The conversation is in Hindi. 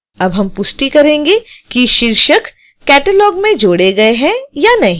अब हम पुष्टि करेंगे कि शीर्षक catalog में जोड़े गए हैं या नहीं